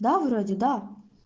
да вроде да